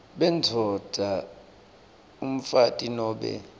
bendvodza umfati nobe